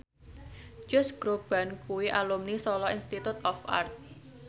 Josh Groban kuwi alumni Solo Institute of Art